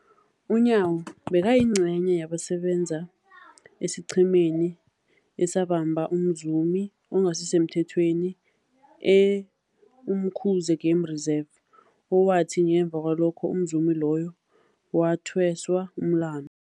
UNyawo bekayingcenye yabasebenza esiqhemeni esabamba umzumi ongasisemthethweni e-Umkhuze Game Reserve, owathi ngemva kwalokho umzumi loyo wathweswa umlandu.